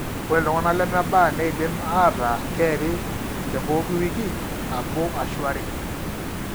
Ore iltung'anak lemebaa neidim aataa keeri tepooki wiki nabo ashu are.